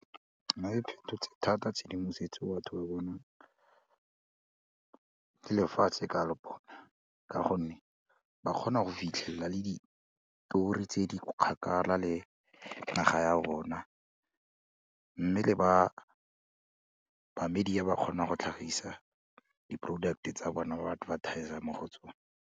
Nna thotse thata tshedimosetso e batho ba bonang le lefatshe ka le bona ka gonne ba kgona go fitlhelela le ditori tse di kgakala le naga ya rona mme le ba media ba kgona go tlhagisa di-product-e tsa bona ba advertis-a mo go tsone.